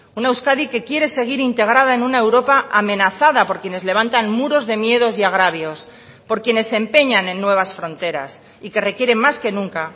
una euskadi que quiere seguir integrada en una europa amenazada por quienes levantan muros de miedos y agravios por quienes se empeñan en nuevas fronteras y que requieren más que nunca